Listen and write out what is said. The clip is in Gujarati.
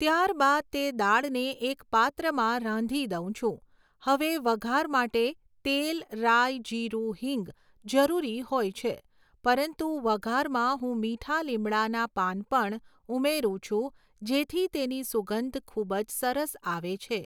ત્યારબાદ તે દાળને એક પાત્રમાં રાંધી દઉં છું, હવે વઘાર માટે તેલ રાઈ જીરું હીંગ જરૂરી હોય છે, પરંતુ વઘારમાં હું મીઠા લીંબડાના પાન પણ ઉમેરું છું જેથી તેની સુગંધ ખૂબ જ સરસ આવે છે